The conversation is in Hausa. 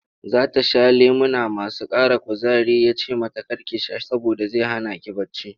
Za ta sha lemuna masu ƙara kuzari ya ce mata kar ki sha saboda zai hana ki bacci.